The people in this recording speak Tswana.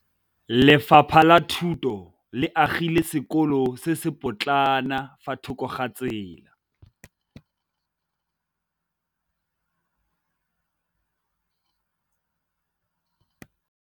Lefapha la Thuto le agile sekôlô se se pôtlana fa thoko ga tsela.